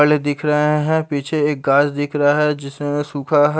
पहले दिख रहा है पीछे एक कार दिख रहा है जिसमें सुखा है।